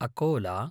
Akola